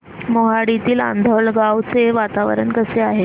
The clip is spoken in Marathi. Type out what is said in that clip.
मोहाडीतील आंधळगाव चे वातावरण कसे आहे